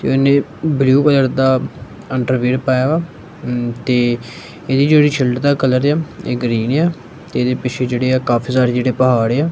ਤੇ ਇਨੇ blue colour ਦਾ ਅੰਡਰ ਵੀਅਰ ਪਾਇਆ ਆ ਤੇ ਇਹਦੀ ਜਿਹੜੀ ਸਲਟ ਦਾ ਕਲਰ ਆ ਇਹ ਗ੍ਰੀਨ ਆ ਇਹਦੇ ਪਿੱਛੇ ਜਿਹੜੇ ਆ ਕਾਫੀ ਸਾਰੇ ਜਿਹੜੇ ਪਹਾੜ ਆ।